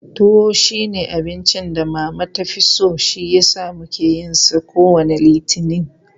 Tuwo shi ne abincin da Mama ta fi so shi yasa muke yin sa kowane Litini.